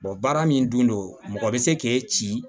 baara min don mɔgɔ bɛ se k'e ci